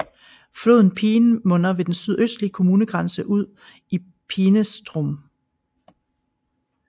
Floden Peene munder ved den sydøstlige kommunegrænse ud i Peenestrom